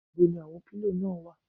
Ibo ni àwọn pílò náà wà?